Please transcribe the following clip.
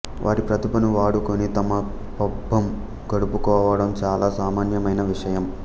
వారి ప్రతిభను వాడుకొని తమ పబ్బం గడుపుకోడం చాలా సామాన్యమైన విషయం